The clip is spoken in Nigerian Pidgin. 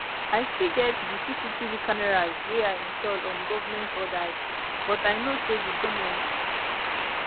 i still get di cctv cameras wey i install on government orders but i know say di goment